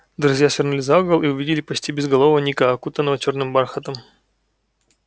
друзья свернули за угол и увидели почти безголового ника окутанного чёрным бархатом